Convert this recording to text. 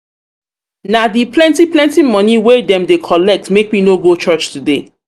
na di plenty plenty moni wey dem dey collect make me no go church today.